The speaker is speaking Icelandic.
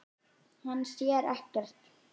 Hann sér ekkert.